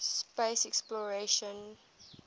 space exploration